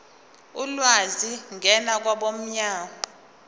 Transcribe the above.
ulwazi ngena kwabomnyango